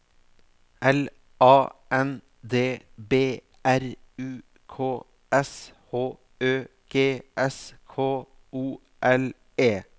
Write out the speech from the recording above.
L A N D B R U K S H Ø G S K O L E